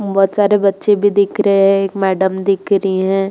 बहुत सारे बच्चे भी दिख रहे हैं। एक मैडम दिख रही हैं।